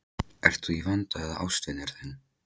Ert þú í vanda eða ástvinur þinn?